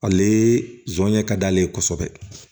Ale jɔnɲɛ ka d'ale ye kosɛbɛ